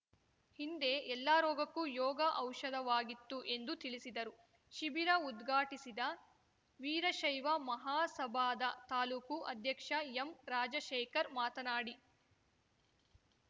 ಹಿಂದೆ ಎಲ್ಲ ರೋಗಕ್ಕೂ ಯೋಗ ಔಷಧವಾಗಿತ್ತು ಎಂದು ತಿಳಿಸಿದರು ಶಿಬಿರ ಉದ್ಘಾಟಿಸಿದ ವೀರಶೈವ ಮಹಾಸಭಾದ ತಾಲೂಕು ಅಧ್ಯಕ್ಷ ಎಂರಾಜಶೇಖರ್‌ ಮಾತನಾಡಿ